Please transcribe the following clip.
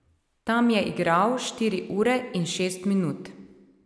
Tam je igral štiri ure in šest minut.